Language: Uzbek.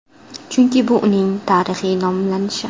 Chunki bu uning tarixiy nomlanishi.